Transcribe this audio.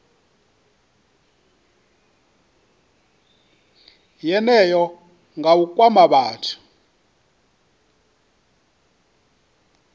yeneyo nga u kwama vhathu